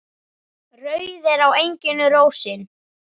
Rauð er á enginu rósin.